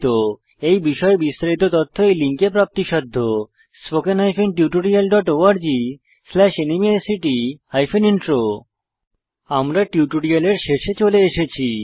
001311 001308 এই বিষয়ে বিস্তারিত তথ্য এই লিঙ্কে প্রাপ্তিসাধ্য httpspoken tutorialorgNMEICT Intro আমরা টিউটোরিয়ালের শেষে চলে এসেছি